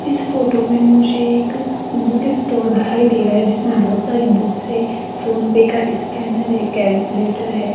इस फोटो में मुझे एक बुक स्टोर दिखाई दे रहा है जिसमें बहोत सारी बुक्स हैं फोन पे का स्कैनर है कैलकुलेटर है।